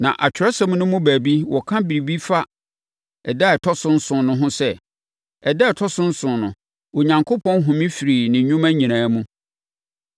Na Atwerɛsɛm no mu baabi wɔka biribi fa da a ɛtɔ so nson no ho sɛ, “Ɛda a ɛtɔ so nson no, Onyankopɔn home firii ne nnwuma nyinaa mu.”